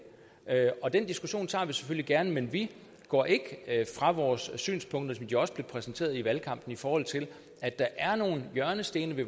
og den diskussion tager vi selvfølgelig gerne men vi går ikke fra vores synspunkter sådan som de også blev præsenteret i valgkampen i forhold til at der er nogle hjørnesten i